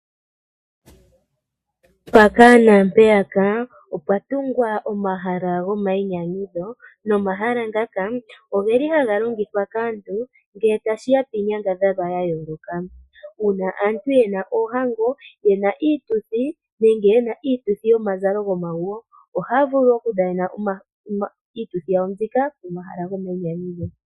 Mpaka nampeyaka opwa tungwa omahala nomahala ngaka oge li haga longithwa ngele tashi ya piinyangadhalwa ya yooloka ngele aantu taya dhana oohango ye na iituthi nenge ye na iituthi yomazalo gomaguyo. Ohaya vulu okudhanena iituthi yawo pomahala gomayinyanyudho.